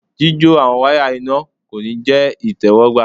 jijo àwọn waya iná ko ní jẹ itẹwọgbà